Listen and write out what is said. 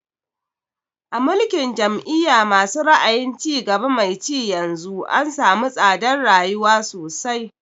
A mulkin jam'iya ma su ra'ayin cigaba mai ci yanzu an samu tsadar rayuwa sosai